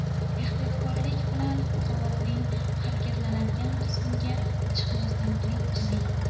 Ehtiyotkorlik bilan, qovoqning harakatlanadigan qismiga chiqmasdan turib chizing.